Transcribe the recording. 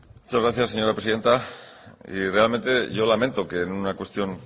muchas gracias señora presidenta y realmente yo lamento que en una cuestión